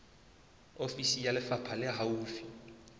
ofisi ya lefapha le haufi